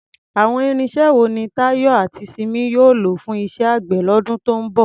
Àwọn irinṣẹ́ wo ni Tayo àti Simi yóò lò fún iṣẹ́ àgbẹ̀ lọ́dún tó ń bọ̀?